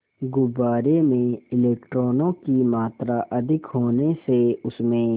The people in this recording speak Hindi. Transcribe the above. गुब्बारे में इलेक्ट्रॉनों की मात्रा अधिक होने से उसमें